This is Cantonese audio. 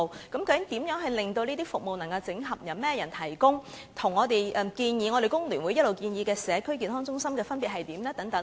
究竟這些服務會如何整合、由誰提供、與工聯會一直建議的社區健康中心有何分別呢？